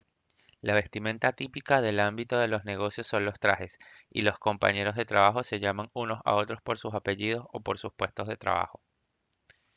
la vestimenta típica del ámbito de los negocios son los trajes y los compañeros de trabajo se llaman unos a otros por sus apellidos o por sus puestos de trabajo